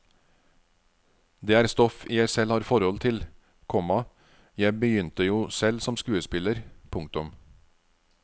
Det er stoff jeg selv har forhold til, komma jeg begynte jo selv som skuespiller. punktum